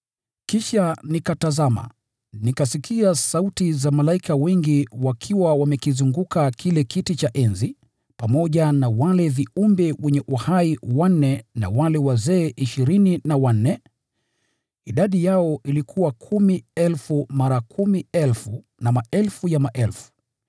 Kisha nikatazama, nikasikia sauti za malaika wengi wakiwa wamekizunguka kile kiti cha enzi, pamoja na wale viumbe wenye uhai wanne na wale wazee ishirini na wanne. Idadi yao ilikuwa kumi elfu mara kumi elfu na maelfu ya maelfu.